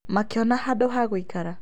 Makĩona handũ ha gũikara